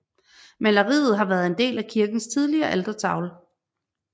Maleriet har været en del af kirkens tidligere altertavle